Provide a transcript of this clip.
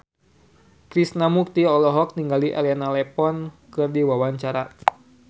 Krishna Mukti olohok ningali Elena Levon keur diwawancara